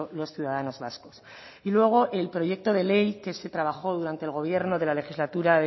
los ciudadanos vascos y luego el proyecto de ley que se trabajó durante el gobierno de la legislatura